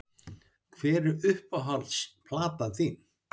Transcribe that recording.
Hver er uppáhalds platan þín?